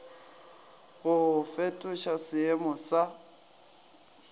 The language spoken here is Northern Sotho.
go go fetoša seeemo sa